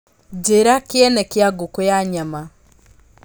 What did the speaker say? njĩira kĩene kĩa ngũkũ ya nyama